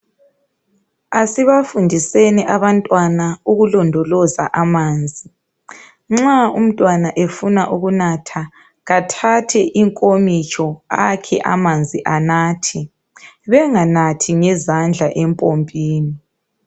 Asibafundiseni abantwana ukulondoloza amanzi. Nxa umntwana efuna ukunatha, kathathe inkomitsho akhe amanzi anathe. Benganathi ngezandla empompini.